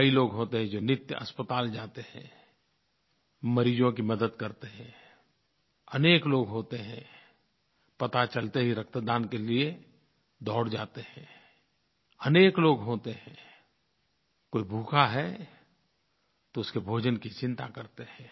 कई लोग होते हैं जो नित्य अस्पताल जाते हैं मरीज़ों की मदद करते हैं अनेक लोग होते हैं पता चलते ही रक्तदान के लिए दौड़ जाते हैं अनेक लोग होते हैं कोई भूखा है तो उसके भोजन की चिंता करते हैं